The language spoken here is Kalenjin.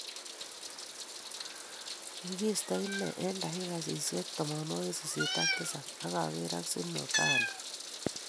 Kikiisto inne eng dakikaiyatab tamanwokik sisit ak tisab akekeer ak Zinho Gano